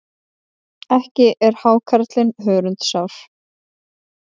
Ekki er hákarlinn hörundsár.